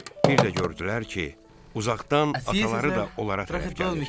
Bir də gördülər ki, uzaqdan ataları da onlara tərəf gəlir.